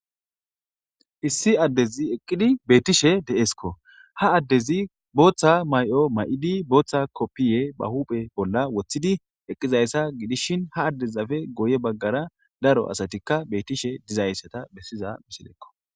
Issi addezi eqqidi beettishe de'eskk ha addezi booththa may'o may'idi booththa koppiye ba huphe bolla woththidi eqqizayssa gidishin ha addezafe goye baggara daro asatikka beettishe dizayssata bessiza misilekko.